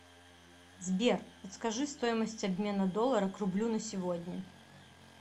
сбер подскажи стоимость обмена доллара к рублю на сегодня